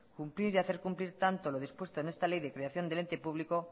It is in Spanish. cumplir y hacer cumplir tanto lo dispuesto en esta ley de creación del ente público